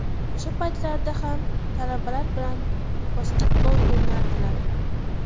O‘sha paytlarda ham talabalar bilan basketbol o‘ynardilar.